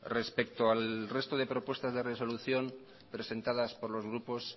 respecto al resto de propuestas de resolución presentadas por los grupos